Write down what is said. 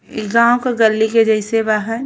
इ गांव के गल्ली के जइसे बा ह।